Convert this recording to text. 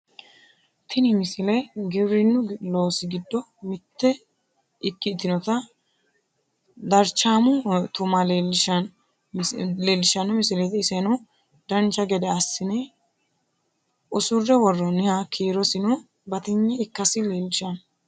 tini misile giwirinnu loosi giddo mitte ikkitinota darchaamo tuma leellishshanno misileeti isono dancha gede assine usurre worroonniha kiirosino batinye ikkasi leellishshanno